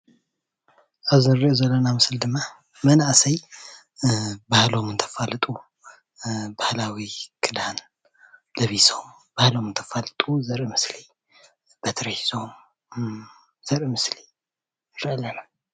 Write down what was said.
ኣብዚ እንሪኦ ዘለና ምስሊ ድማ መናኦሰዬ ባህለም እንተፋልጡ ባህላዊ ክዳን ለቢሶም ባህሎም እንተፋልጡ ዘርኢ ምስሊ በትሪ ሒዞም ተኸዲኖም ባህሎም እንተፋልጡ ንርኢ ኣለና ።